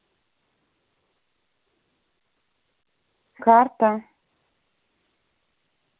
карта